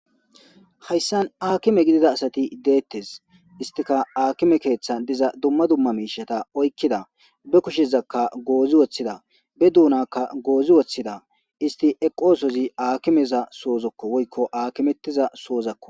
Hayssan haakime gidida asati dettes isttikka haakime keeththan diza dumma dumma miishshata oyqida be kushezakka gozi wothida be duunnakka goozi wothida isti eqosozi hakime soohozakko woykko haakimettizasokko